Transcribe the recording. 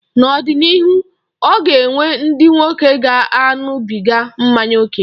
N'ọ dị n'ịrụ, ọ ga-enwe ndị nwoke ga-aṅụbịga mmanya oke.